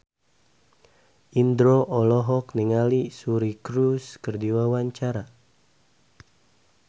Indro olohok ningali Suri Cruise keur diwawancara